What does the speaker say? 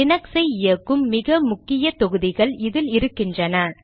Linux ஐ இயக்கும் மிக முக்கிய தொகுதிகள் இதில் இருக்கின்றன